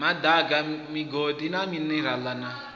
madaka migodi na minerale na